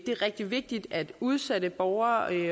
er rigtig vigtigt at udsatte borgere og